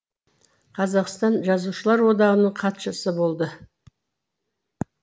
қазақстан жазушылар одағының хатшысы болды